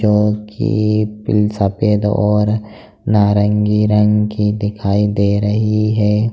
क्योंकि पिल सफेद और नारंगी रंग की दिखाई दे रही है।